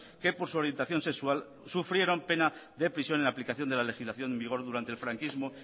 que por su orientación sexual sufrieron pena de prisión en aplicación de la legislación en vigor durante el franquismo